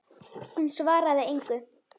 Hún svaraði engu.